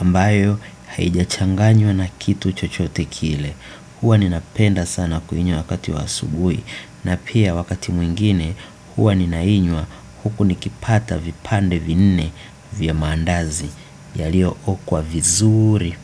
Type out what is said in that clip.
ambayo haijachanganywa na kitu chochote kile huwa ninapenda kuinywa sana wakati wa asubuhi na pia wakati mwingine huwa ninainywa huku nikipata vipande vinne vya mandazi yaliyookwa vizuri.